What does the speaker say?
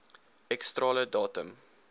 x strale datum